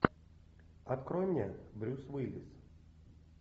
открой мне брюс уиллис